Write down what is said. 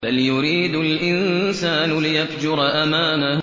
بَلْ يُرِيدُ الْإِنسَانُ لِيَفْجُرَ أَمَامَهُ